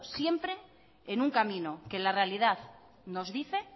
siempre en un camino que en la realidad nos dice